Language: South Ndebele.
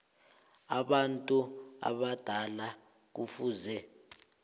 abantu abadala kufuze